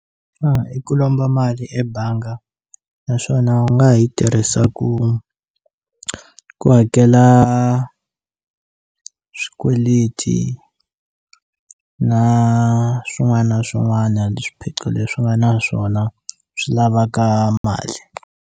i ku lomba mali ebanga naswona u nga ha yi tirhisa ku ku hakela swikweleti na swin'wana na swin'wana swiphiqo leswi nga na swona swi lavaka mali.